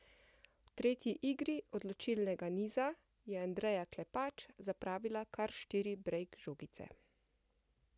V tretji igri odločilnega niza je Andreja Klepač zapravila kar štiri brejk žogice!